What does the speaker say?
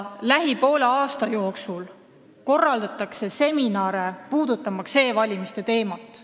Lähima poole aasta jooksul korraldatakse seminare, käsitlemaks e-valimiste teemat.